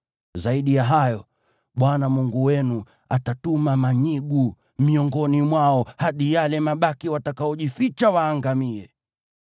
Zaidi ya hayo, Bwana Mungu wenu atatuma manyigu miongoni mwao hadi yale mabaki watakaojificha waangamie.